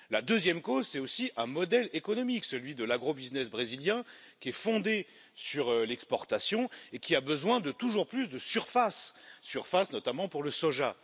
La deuxième cause est aussi un modèle économique, celui de l'agro business brésilien, qui est fondé sur l'exportation et qui a besoin de toujours plus de surface, notamment pour le soja.